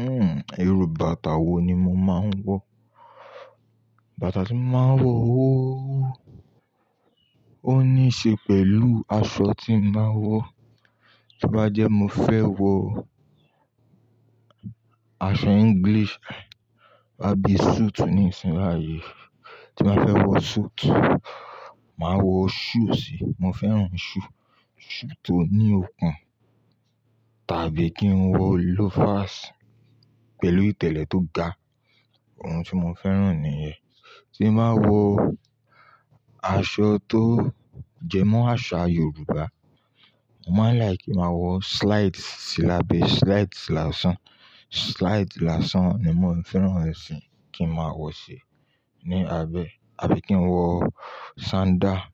Uhm, irú bàtà wo ni mo máa ń wọ? Bàtà tí mo máa ń wọ ó, ó níí ṣe pẹ̀lú aṣọ tí n bá wọ. To bá jẹ́ mo fẹ́ wọ aṣọ English, àbí suit ní ìsìn yi báyí. Tí mo fẹ́ wọ suit, màá wọ shoe sí i. Mo fẹ́ràn shoe, shoe tó ní okùn tàbí kí n wọ loafers pẹ̀lú ìtẹ̀lẹ̀ tó ga. Ohun tí mo fẹ́ràn nìyẹn. Tí n bá wọ aṣọ tó jẹmọ́ àṣà Yorùbá, n màá like kí màá wọ slide sílabẹ, slide sìlàsán. Slide làsán ni mò fẹ́ràn ẹ̀ sì kí n máa wọ̀ ṣi ní abẹ, àbí kí n wọ sandal si.